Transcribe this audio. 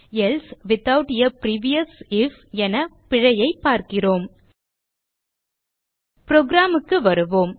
else without a previous if என பிழையைப் பார்க்கிறோம் program க்கு வருவோம்